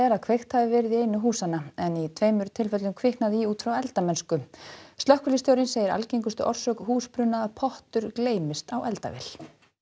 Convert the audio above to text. að kveikt hafi verið í einu húsanna en í tveimur tilfellum kviknaði í út frá eldamennsku slökkviliðsstjórinn segir algengustu orsök húsbruna að pottur gleymist á eldavél